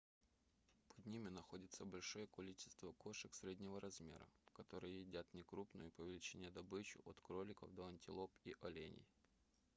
под ними находятся большее количество кошек среднего размера которые едят некрупную по величине добычу от кроликов до антилоп и оленей